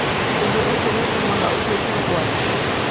Ũndũ ũcio nĩ ũtũmaga ũtuĩke ũgwati.